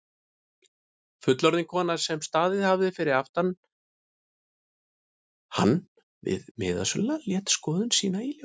Fullorðin kona sem staðið hafði fyrir aftan hann við miðasöluna lét skoðun sína í ljós.